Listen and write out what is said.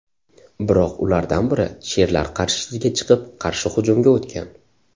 Biroq ulardan biri sherlar qarshisiga chiqib, qarshi hujumga o‘tgan.